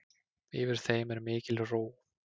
Yfir þeim er mikil ró.